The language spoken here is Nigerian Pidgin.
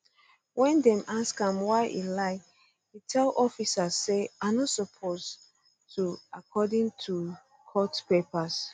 ween dem ask am why e lie e tell officers say i no suppose to according to court papers